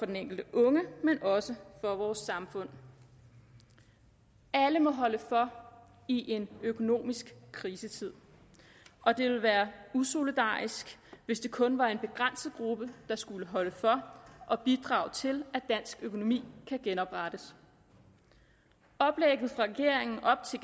den enkelte unge og også for vores samfund alle må holde for i en økonomisk krisetid og det ville være usolidarisk hvis det kun var en begrænset gruppe der skulle holde for og bidrage til at dansk økonomi kan genoprettes oplægget fra regeringen op til